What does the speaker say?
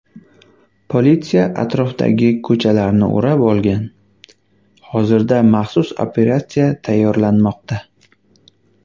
Politsiya atrofdagi ko‘chalarni o‘rab olgan, hozirda maxsus operatsiya tayyorlanmoqda.